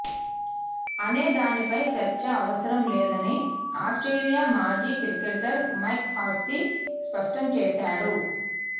అనే దానిపై చర్చ అవసరం లేదని ఆస్ట్రేలియా మాజీ క్రికెటర్ మైక్ హస్సీ స్పష్టం చేశాడు